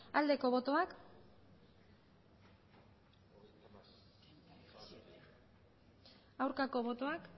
aldeko botoak aurkako botoak